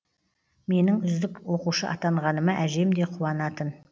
менің үздік оқушы атанғаныма әжем де қуанатын